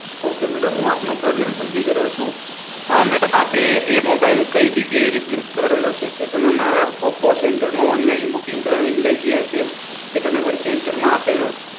Okay madam હું આપનો problem સમજી ગયો છુ, મેડમ આપે કઈ જગ્યાએ રિપ્લેસ કરાવેલ છે તે તમે અમારા ઓપો સેન્ટરમાં ઓનલાઈન બુકિંગ કરાવીને લઇ ગયા છો કે તમે કોઈ સેન્ટરમાં આપેલ છે.